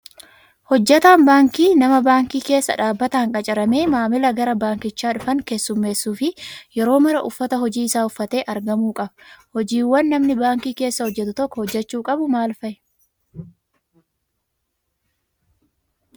Hojjataan baankii nama baankii keessa dhaabbataan qacaramee maamila gara baankichaa dhufan keessummeessuu fi yeroo maraa uffata hojii isaa uffatee argamuu qaba. Hojiiwwan namni baankii keessa hojjatu tokko hojjachuu qabu maal fa'i?